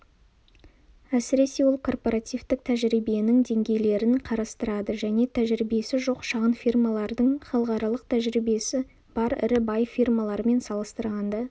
әсіресе ол корпоративтік тәжірибенің деңгейлерін қарастырды және тәжірибесі жоқ шағын фирмалардың халықаралық тәжірибесі бар ірі бай фирмалармен салыстырғанда